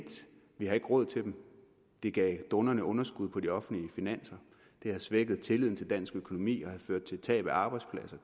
vi ikke har råd til dem det gav dundrende underskud på de offentlige finanser det har svækket tilliden til dansk økonomi og ført til tab af arbejdspladser